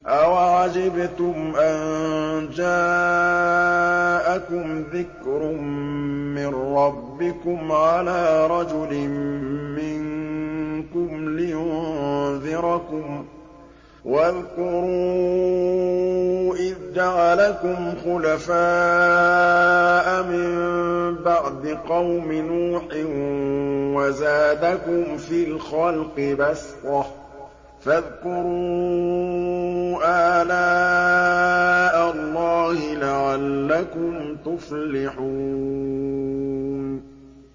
أَوَعَجِبْتُمْ أَن جَاءَكُمْ ذِكْرٌ مِّن رَّبِّكُمْ عَلَىٰ رَجُلٍ مِّنكُمْ لِيُنذِرَكُمْ ۚ وَاذْكُرُوا إِذْ جَعَلَكُمْ خُلَفَاءَ مِن بَعْدِ قَوْمِ نُوحٍ وَزَادَكُمْ فِي الْخَلْقِ بَسْطَةً ۖ فَاذْكُرُوا آلَاءَ اللَّهِ لَعَلَّكُمْ تُفْلِحُونَ